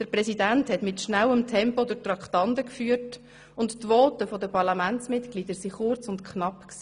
Der Präsident führte in schnellem Tempo durch die Traktanden, und die Voten der Parlamentsmitglieder waren kurz und knapp.